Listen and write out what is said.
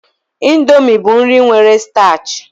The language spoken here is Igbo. Indomi bụ nri nwere stach